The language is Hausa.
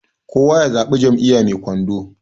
kowa ya zaɓi Jam'iyya mai kwando